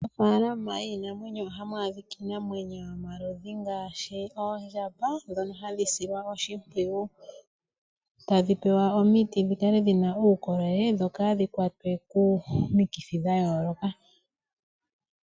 Mofaalama yiinamwenyo ohamu adhika iinamwenyo oyindji ngaashi oondjamba, ndhono hashi silwa oshimpwiyu, tadhi pewa omiti dhikale dhina uukolele dho kaadhi kwatwe komikithi dha yooloka.